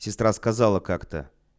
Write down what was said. сестра сказала как-то